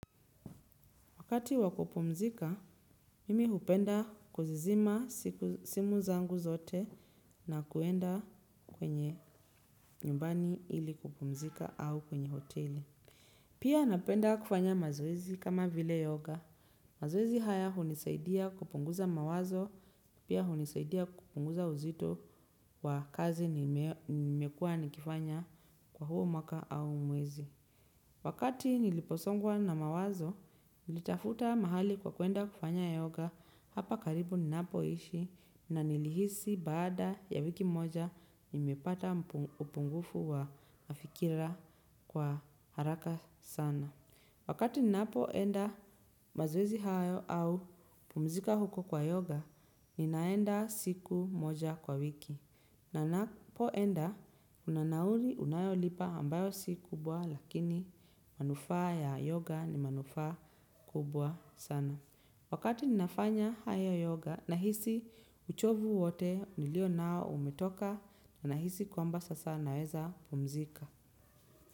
Wakati wakupumzika, mimi hupenda kuzizima simu zangu zote na kuenda kwenye nyumbani ili kupumzika au kwenye hoteli. Pia napenda kufanya mazoezi kama vile yoga. Mazowezi haya hunisaidia kupunguza mawazo, pia hunisaidia kupunguza uzito wa kazi nimekua nikifanya kwa huo mwaka au mwezi. Wakati niliposongwa na mawazo, nilitafuta mahali kwa kuenda kufanya yoga hapa karibu ninapo ishi na nilihisi baada ya wiki moja, nimepata upungufu wa mafikira kwa haraka sana. Wakati ninapoenda mazoezi hayo au pumzika huko kwa yoga, ninaenda siku moja kwa wiki. Na napoenda, kuna nauli unayolipa ambayo si kubwa lakini, manufaa ya yoga ni manufaa kubwa sana. Wakati ninafanya haya yoga, nahisi uchovu wote nilionao umetoka, nahisi kwamba sasa naeza pumzika.